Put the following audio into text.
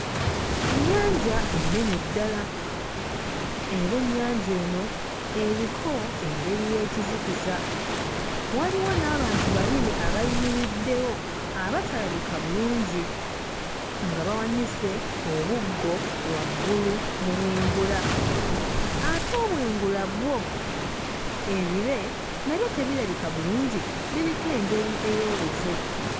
Ennyanja ennene ddala era ennyanja eno eriko engeri y'ekizikiza, waliwo n'abantu babiri abayimiriddewo abatalabika bulungi nga bawanise obuggo waggulu mu bwengula ate obwengula bwo ebire nabyo tebirabika bulungi, biriko engeri ey'olufu.